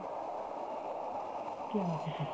ਕਿਆ ਪਤਾ